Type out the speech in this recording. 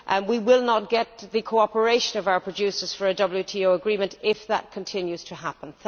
We will not get the cooperation of our producers for a WTO agreement if that continues to happen.